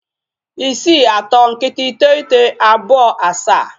630927